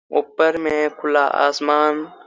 ऊपर में खुला आसमान--